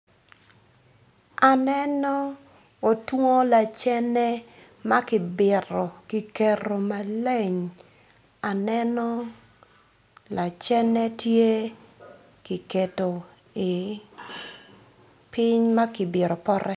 Aneno otwongo lacene ma kibito kiketo maleng aneno lacene tye ki keto piny ma kibito pote.